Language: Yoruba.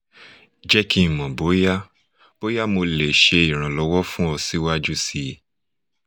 jẹ ki n mọ boya boya mo le ṣe iranlọwọ fun ọ siwaju sii